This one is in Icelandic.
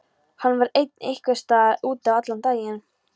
Hann vann einhvers staðar úti allan daginn.